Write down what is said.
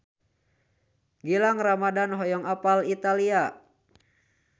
Gilang Ramadan hoyong apal Italia